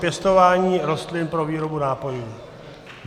Pěstování rostlin pro výrobu nápojů.